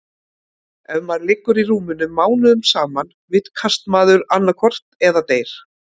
Ef maður liggur í rúminu mánuðum saman vitkast maður annaðhvort eða deyr.